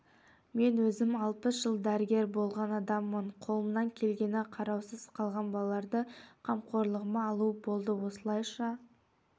мен өзім алпыс жыл дәрігер болған адаммын қолымнан келгені қараусыз қалған балаларды қамқорлығыма алу болды осылайша